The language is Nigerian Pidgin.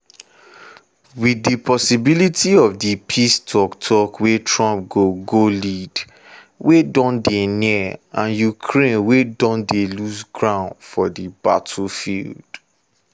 wit di possibility of di peace tok-tok wey trump go go lead wey don dey near and ukraine wey don dey lose ground for di battlefield.